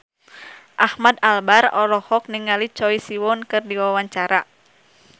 Ahmad Albar olohok ningali Choi Siwon keur diwawancara